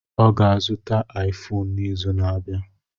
Ọ ga-azụta Aifonu n'izu na-abịa.